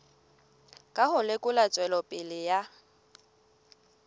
ka ho lekola tswelopele ya